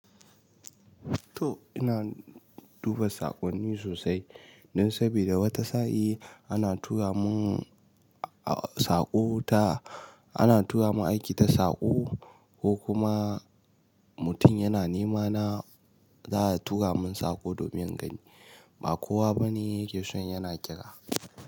To ina duba saƙonni sosai, dan saboda wata sa'in, ana tura mun saƙo ta, ana tura mun aiki ta saƙo ko kuma mutum yana nema na, za a tura mun saƙo domin in gani. Ba kowa bane yake son yana kira.